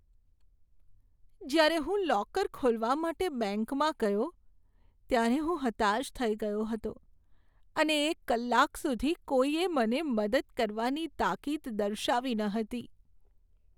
જ્યારે હું લોકર ખોલવા માટે બેંકમાં ગયો ત્યારે હું હતાશ થઈ ગયો હતો અને એક કલાક સુધી કોઈએ મને મદદ કરવાની તાકીદ દર્શાવી ન હતી.